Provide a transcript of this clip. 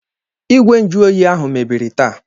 Igwe njuoyi ahụ mebiri taa.